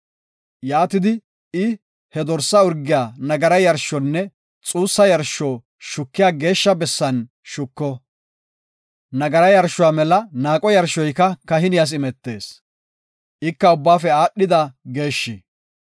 Yaatidi, I he dorsa urgiya nagara yarshonne xuussa yarsho shukiya geeshsha bessan shuko. Nagara yarshuwa mela naaqo yarshoyka kahiniyas imetees; ika ubbaafe aadhida geeshshi.